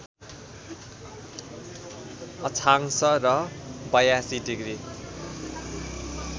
अक्षांश र ८२ डिग्री